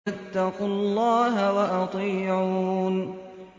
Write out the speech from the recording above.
فَاتَّقُوا اللَّهَ وَأَطِيعُونِ